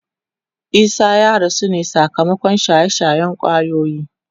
Isah ya rasu ne sakamakon shaye-shayen kwayoyi.